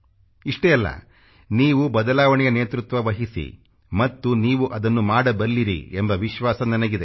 ಇಷ್ಟೇ ಅಲ್ಲ ನೀವು ಬದಲಾವಣೆಯ ನೇತೃತ್ವವಹಿಸಿ ಮತ್ತು ನೀವು ಅದನ್ನು ಮಾಡಬಲ್ಲಿರಿ ಎಂಬ ವಿಶ್ವಾಸ ನನಗಿದೆ